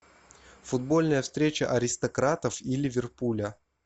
футбольная встреча аристократов и ливерпуля